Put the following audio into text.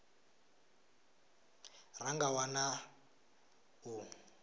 ra nga a wana u